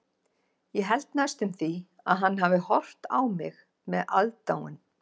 Ég held næstum því að hann hafi horft á mig með aðdáun.